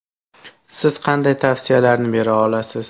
Siz qanday tavsiyalarni bera olasiz?